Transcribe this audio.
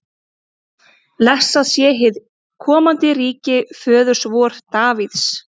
Blessað sé hið komandi ríki föður vors Davíðs!